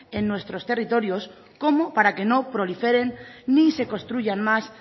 en nuestros territorios como para que no proliferen ni se construyan más